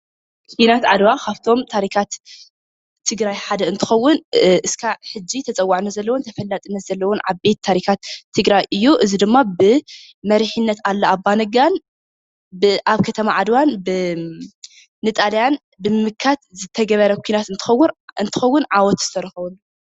ዂናት ዓድዋ ካብቶም ታሪኻት ትግራይ ሓደ እንትኮን እስካዕ ሕዚ ተፀዋዕነት ዘለዎን ተፈላጥነት ዘለዎን ዓበይቲ ታሪኻትት ትግራይ እዩ፡፡ እዚ ድማ ብመሪሒነት ኣሉላ ኣባነጋን ኣብ ከተማ ዓድዋ ንጣልያን ብምምካት ዝተገበረ ዂናት እትኸውን ዓወት ዝተረኸበሉ እዩ፡፡